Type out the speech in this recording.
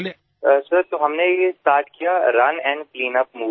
સાહેબ તો અમે એ સ્ટાર્ટ કર્યું run and clean up movement